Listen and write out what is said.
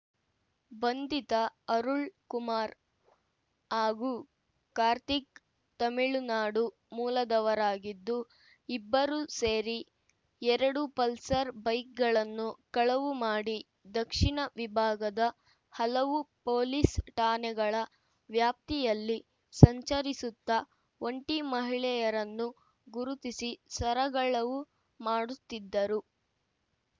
ಬಂಧಿತ ಅರುಳ್ ಕುಮಾರ್ ಹಾಗೂ ಕಾರ್ತಿಕ್ ತಮಿಳುನಾಡು ಮೂಲದವರಾಗಿದ್ದು ಇಬ್ಬರು ಸೇರಿ ಎರಡು ಪಲ್ಸರ್ ಬೈಕ್‌ಗಳನ್ನು ಕಳವು ಮಾಡಿ ದಕ್ಷಿಣ ವಿಭಾಗದ ಹಲವು ಪೊಲೀಸ್ ಠಾಣೆಗಳ ವ್ಯಾಪ್ತಿಯಲ್ಲಿ ಸಂಚರಿಸುತ್ತ ಒಂಟಿ ಮಹಿಳೆಯರನ್ನು ಗುರುತಿಸಿ ಸರಗಳವು ಮಾಡುತ್ತಿದ್ದರು